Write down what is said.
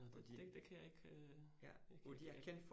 Nåh det det kan jeg ikke ikke kende